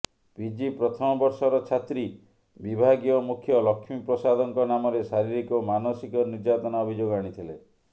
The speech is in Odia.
ପିଜି ପ୍ରଥମ ବର୍ଷର ଛାତ୍ରୀ ବିଭାଗୀୟ ମୁଖ୍ୟ ଲକ୍ଷ୍ମୀପ୍ରସାଦଙ୍କ ନାମରେ ଶାରୀରିକ ଓ ମାନସିକ ନିର୍ଯାତନା ଅଭିଯୋଗ ଆଣିଥିଲେ